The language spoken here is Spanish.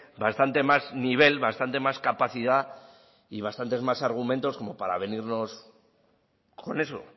bastante más nivel bastante más capacidad y bastantes más argumentos como para venirnos con eso